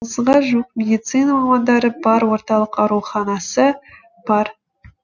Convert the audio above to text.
отызға жуық медицина мамандары бар орталық ауруханасы бар